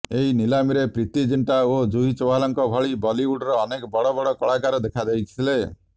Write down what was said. ଏହି ନିଲାମୀରେ ପ୍ରୀତି ଜିଣ୍ଟା ଓ ଜୁହି ଚାଓ୍ବାଲାଙ୍କ ଭଳି ବଲିଉଡର ଅନେକ ବଡ଼ ବଡ଼ କଳାକାର ଦେଖାଯାଇଥିଲେ